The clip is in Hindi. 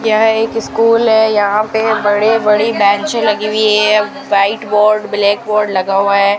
यह एक स्कूल है यहां पे बड़े बड़े बेंच लगी हुई है व्हाइट बोर्ड ब्लैक बोर्ड लगा हुआ है।